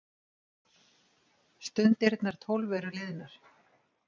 Stundirnar tólf eru liðnar.